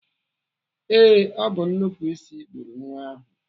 Ee, ọ bụ nnupụisi gburu nwa ahụ.